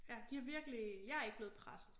Ja de har virkelig jeg er ikke blevet presset